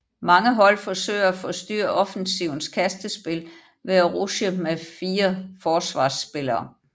Mange hold forsøger at forstyrre offensivens kastespil ved at rushe med fire forsvarsspillere